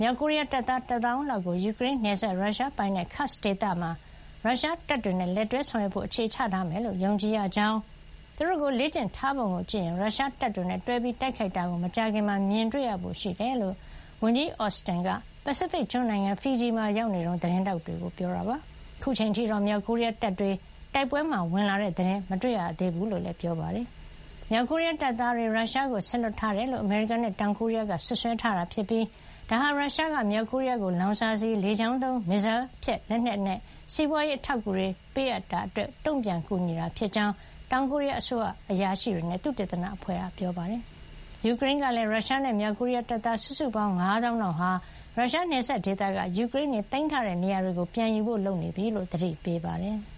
မြောက်ကိုရီးယား တပ်သား ၁ သောင်းလောက်ကို ယူကရိန်းနယ်စပ် ရုရှားပိုင်နက် Kursk ဒေသမှာ ရုရှားတပ်တွေနဲ့ လက်တွဲဆောင်ရွက်ဖို့ အခြေချထားမယ်လို့ ယုံကြည်ရကြောင်း၊ သူတို့ကို လေ့ကျင့်ထားပုံကို ကြည့်ရင် ရုရှားတပ်တွေနဲ့ တွဲပြီးတိုက်ခိုက်တာကို မကြာခင်မှာပဲ မြင်တွေ့ရဖို့ရှိကြောင်း ဝန်ကြီး Austin က ပစိဖိတ်ကျွန်းနိုင်ငံ ဖီဂျီမှာ ရောက်နေတုန်း သတင်းထောက်တွေကို ပြောကြားခဲ့တာပါ။ အခုအချိန် အထိတော့ မြောက်ကိုရီးယားတပ်တွေ တိုက်ပွဲမှာဝင်လာတဲ့ သတင်းတော့ မတွေ့ရသေးဘူး လို့လည်း ပြောပါတယ်။ မြောက်ကိုရီးယား တပ်သားတွေ ရုရှားကို စေလွှတ်ထားတယ်လို့ အမေရိကန်နဲ့ တောင်ကိုရီးယားက စွပ်စွဲထားတာ ဖြစ်ပြီး ဒါဟာ ရုရှားက မြောက်ကိုရီးယားကို လောင်စာဆီ၊ လေကြောင်းသုံး မစ်ဇိုင်းဖျက်လက်နက်နဲ့ စီးပွါးရေး အထောက်အကူတွေ ရုရှားပေးအပ်တာ အတွက် တုံ့ပြန်ကူညီတာ ဖြစ်ကြောင်း တောင်ကိုရီးယား အစိုးရအရာရှိတွေနဲ့ သုတေသန အဖွဲ့တခုက ပြောပါတယ်။ ယူကရိန်းကလည်း ရုရှားနဲ့ မြောက်ကိုရီးယား တပ်သား စုစုပေါင်း ၅ သောင်းလောက်ဟာ ရုရှားနယ်စပ်ဒေသက ယူကရိန်းတွေ သိမ်းထားတဲ့နေရာတွေကို ပြန်ယူဖို့ လုပ်နေပြီလို့ သတိပေးပါတယ်။